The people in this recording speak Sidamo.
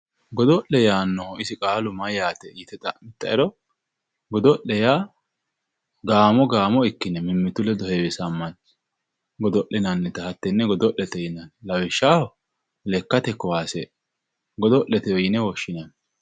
godo'le yaannohu isi qaalu mayyaate yite xa'mittoero godo'le yaa gaamo gaamo ikkine mimmitu lede heewisammanni godo'linannita hattenne godo'lete yinanni lawishshaho lekkate kaase godo'letewe yine woshshineemmo.